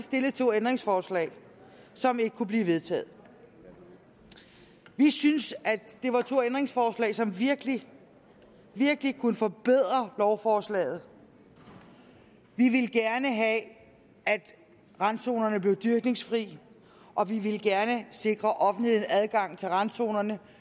stillet to ændringsforslag som ikke kunne blive vedtaget vi syntes det var to ændringsforslag som virkelig virkelig kunne forbedre lovforslaget vi ville gerne have at randzonerne blev dyrkningsfri og vi ville gerne sikre offentligheden adgang til randzonerne